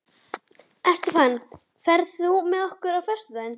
Estefan, ferð þú með okkur á föstudaginn?